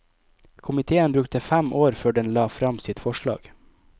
Komiteen brukte fem år før den la fram sitt forslag.